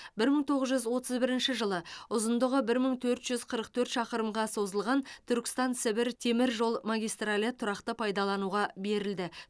бір мың тоғыз жүз отыз бірінші жылы ұзындығы бір мың төрт жүз қырық төрт шақырымға созылған түркістан сібір темір жол магистралі тұрақты пайдалануға берілді